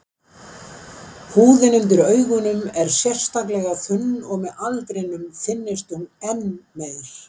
Húðin undir augunum er sérstaklega þunn, og með aldrinum þynnist hún enn meir.